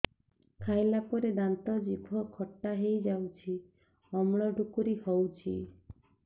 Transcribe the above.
ଖାଇଲା ପରେ ଦାନ୍ତ ଜିଭ ଖଟା ହେଇଯାଉଛି ଅମ୍ଳ ଡ଼ୁକରି ହଉଛି